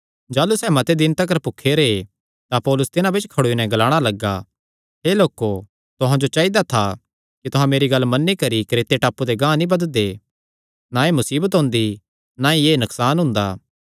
जाह़लू सैह़ मते दिन तिकर भुखे रैह् तां पौलुस तिन्हां बिच्च खड़ोई नैं ग्लाणा लग्गा हे लोको तुहां जो चाइदा था कि तुहां मेरी गल्ल मन्नी करी क्रेते टापू ते गांह ते नीं बधदे थे ना एह़ मुसीबत ओंदी ना ई एह़ नकसान हुंदा